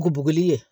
Nuguri ye